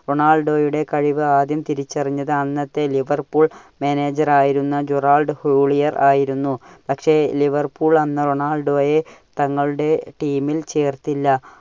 റൊണാൾഡോയുടെ കഴിവ് ആദ്യം തിരിച്ചറിഞ്ഞത് അന്നത്തെ ലിവർപൂൾ manager ആയ ജോറാൾഡ് ഹൂളിയർ ആയിരുന്നു. പക്ഷേ ലിവർപൂൾ അന്ന് റൊണാൾഡോയെ തങ്ങളുടെ team ൽ ചേർത്തില്ല.